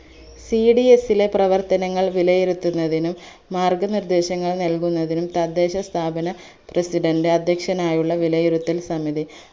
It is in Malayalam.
cds ലെ പ്രവർത്തനങ്ങൾ വിലയിരുത്തുന്നതിനും മാർഗ്ഗനിർദ്ദേശങ്ങൾ നൽകുന്നതിനും തദ്ദേശസ്ഥാപന president അധ്യക്ഷനായുള്ള വിലയിരുത്തൽ സമിതി